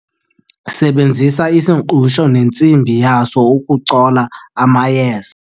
sebenzisa isingqusho nentsimbi yaso ukucola amayeza